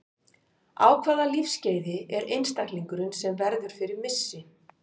Á hvaða lífsskeiði er einstaklingurinn sem verður fyrir missi?